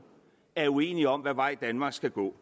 er uenige om hvad vej danmark skal gå